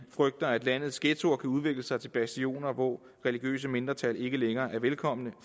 frygter at landets ghettoer kan udvikle sig til bastioner hvor religiøse mindretal ikke længere er velkomne